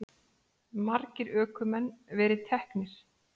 Margir ökumenn verið teknir